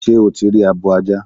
Sé o ti rí abo ajá?